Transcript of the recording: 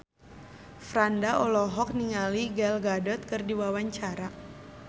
Franda olohok ningali Gal Gadot keur diwawancara